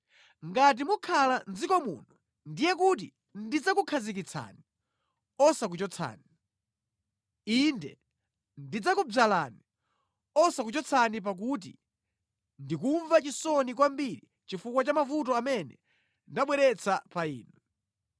“Ngati mukhala mʼdziko muno, ndiye kuti ndidzakukhazikitsani, osakuchotsani. Inde ndidzakudzalani osakuchotsani pakuti ndi kumva chisoni kwambiri chifukwa cha mavuto amene ndabweretsa pa inu.